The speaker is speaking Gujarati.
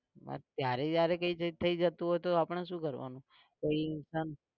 ત્યારે જયારે કઈ થઇ જતું હોય તો આપણે શું કરવાનું કોઈ इंसान